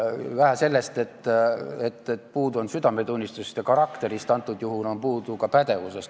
Vähe sellest, et puudu on südametunnistusest ja karakterist, antud juhul on puudu ka pädevusest.